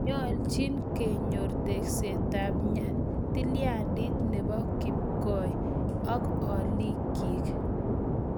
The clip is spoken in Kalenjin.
Nyoljin konyor tekseetab tilyandit ne bo kipkoi ak olikyik